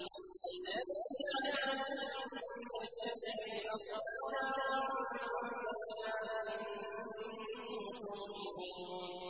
الَّذِي جَعَلَ لَكُم مِّنَ الشَّجَرِ الْأَخْضَرِ نَارًا فَإِذَا أَنتُم مِّنْهُ تُوقِدُونَ